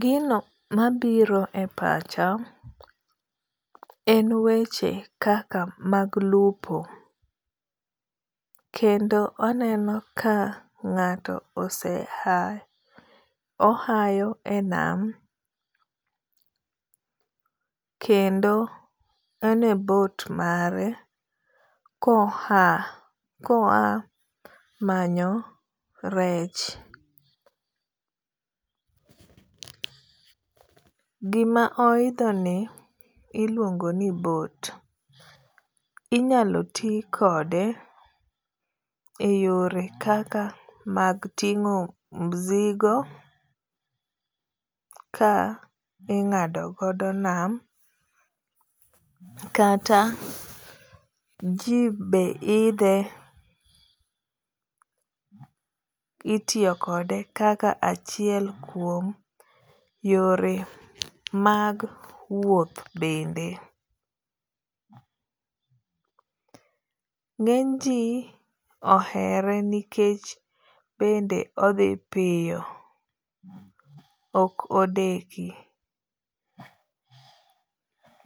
Gino ma biro e pacha en weche kaka mag lupo. Kendo aneno ka ng'ato oseha ohayo e nam kendo en e boat mare ko oa ko oa manyo rech. Gi ma oidho ni iluongo ni boat ,inyalo ti kode e yore kaka mag ting'o mzigo ka ingado godo nam kata ji be idhe itiyo kode kaka achiel kuom yore mag wuoth bende, ngeny ji ohere nikech bende odhi piyo ok odeki.